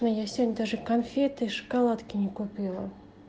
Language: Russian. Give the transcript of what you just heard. я сегодня даже конфеты шоколадки не купила